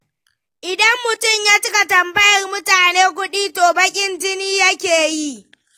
Idan mutum ya cika tambayar mutane kudi, to baƙn jini yake yi.